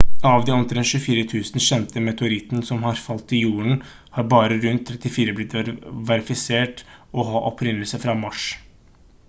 av de omtrent 24 000 kjente meteorittene som har falt til jorden har bare rundt 34 blitt verifisert å ha opprinnelse fra mars